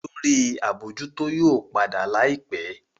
Olórí abojuto yóò pàdà láìpé.